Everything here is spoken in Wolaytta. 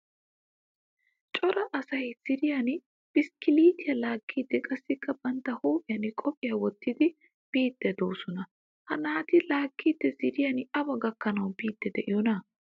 Cora asay ziiriyan biskilettiyaa laagidi qassika bantta huuphphiyan qophiya wottidi biidi deosona. Ha naati laagidi ziiriyan awa gakkanawu biidi de'iyona?